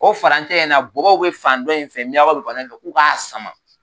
Ko furancɛ in na bɔbɔ bɛ fan dɔ in fɛ miyanw bɛ fan dɔ in fɛ u k'a sama